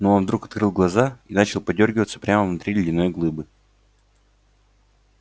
но он вдруг открыл глаза и начал подёргиваться прямо внутри ледяной глыбы